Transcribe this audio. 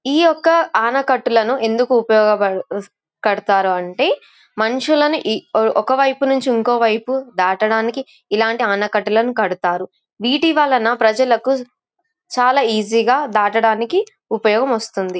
ఈ యొక్క అనకట్టలనును ఎందుకు ఉపయోగ అస్ కడతారు. అంటే మనుషులను ఈ ఒక వైపు నుండి ఇంకో వైపు దాటానికి ఇలాంటి అంకట్ట లను కడతారు. వీటి వలన ప్రజలకు చల ఈజీ దాటటానికి ఉపయోగం వస్తుంది.